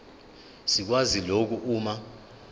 sikwazi lokhu uma